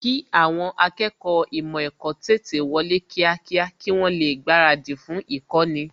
kì àwọn akẹ́kọ̀ọ́ ímò èkó tètè wọlé kíákíá kí wọ́n lè gbaradì fún īkóni